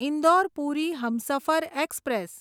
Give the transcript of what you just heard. Indore Puri Humsafar express